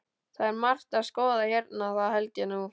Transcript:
Það er margt að skoða hérna, það held ég nú.